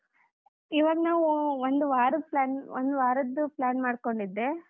ಇವಾಗ್ ನಾವು ಒಂದ್ ವಾರದ್ plan ಒಂದು ವಾರದ್ದು plan ಮಾಡ್ಕೊಂಡಿದ್ದೆ.